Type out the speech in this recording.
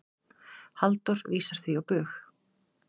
Halldór vísar því á bug.